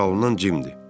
Ora salınan cimdir.